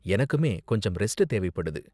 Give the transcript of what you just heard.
எனக்குமே கொஞ்சம் ரெஸ்ட் தேவைப்படுது.